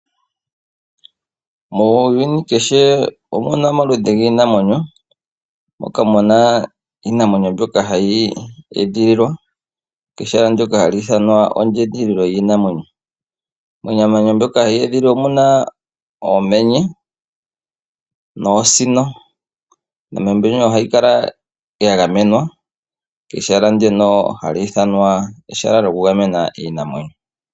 Muuyuni omu na omaludhi giinamwenyo, moka mu na iinamwenyo mbyoka hayi edhililwa pehala ndyoka hali ithanwa oshikunino shiinamwenyo. Miinamwenyo mbyoka ye edhililwa omu na uumenye nuusino. Iinamwenyo mbika ohayi kala ya gamenwa mehala ndyoka hali ithanwa oshikunino shiinamwenyo.